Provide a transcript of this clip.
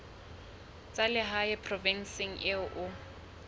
tsa lehae provinseng eo o